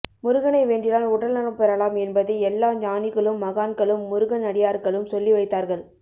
முருகனை வேண்டினால் உடல் நலம் பெறலாம் என்பதை எல்லா ஞானிகளும் மகான்களும் முருகன் அடியார்களும் சொல்லி வைத்தார்கள்